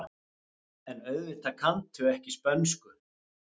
En auðvitað kanntu ekki spönsku.